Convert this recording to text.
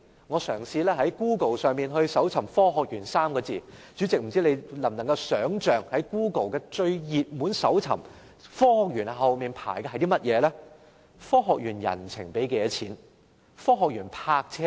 我嘗試在 Google 上以"科學園 "3 個字進行搜尋，代理主席，不知你能否想象，在 Google 的最熱門搜尋當中，"科學園"後面是跟着甚麼呢？